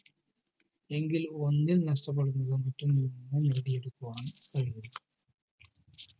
എങ്കിൽ വന്ദ്യം നഷപെടുന്ന